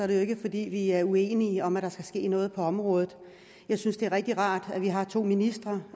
det jo ikke er fordi vi er uenige om at der skal ske noget på området jeg synes det er rigtig rart at vi har to ministre